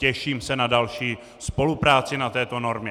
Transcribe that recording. Těším se na další spolupráci na této normě.